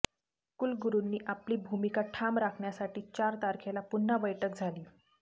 कुलगुरुंनी आपली भूमिका ठाम राखण्यासाठी चार तारखेला पुन्हा बैठक झाली